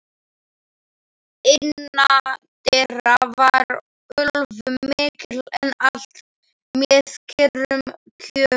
Innandyra var ölvun mikil, en allt með kyrrum kjörum.